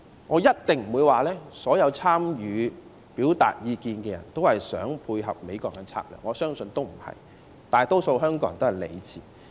我一定不會說所有參與表達意見的人也是想配合美國的策略，我相信不是這樣的，大多數香港人也是理智的。